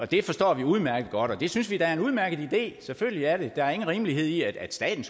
det forstår vi udmærket godt og det synes vi da er en udmærket idé selvfølgelig er det det der er ingen rimelighed i at staten